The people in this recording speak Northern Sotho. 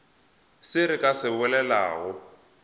se re ka se bolelago